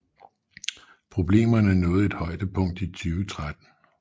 Problemerne nåede et højdepunkt i 2013